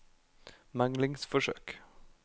meglingsforsøk